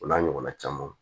O n'a ɲɔgɔnna camanw